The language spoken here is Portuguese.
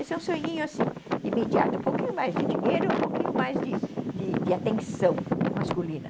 Esse é um sonhinho assim, imediato, um pouquinho mais de dinheiro, um pouquinho mais de de atenção masculina.